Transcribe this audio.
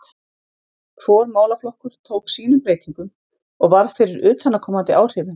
Hvor málaflokkur tók sínum breytingum og varð fyrir utanaðkomandi áhrifum.